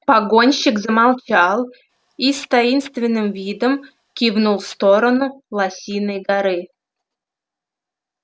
погонщик замолчал и с таинственным видом кивнул в сторону лосиной горы